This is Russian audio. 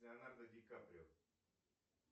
леонардо дикаприо